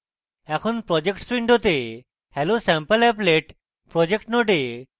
এখন projects window hellosampleapplet projects node ডান click করে